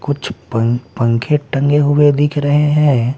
कुछ पंक पंखे टंगे हुए दिख रहे हैं।